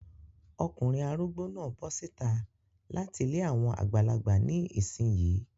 Ọkùnrin arúgbó náà bọ síta láti ilé àwọn àgbàlagbà ní ìsìn yín.